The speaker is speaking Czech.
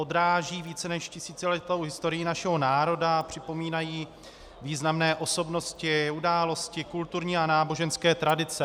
Odráží více než tisíciletou historii našeho národa a připomínají významné osobnosti, události, kulturní a náboženské tradice.